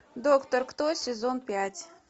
доктор кто сезон пять